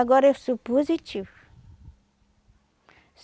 Agora eu sou positiva.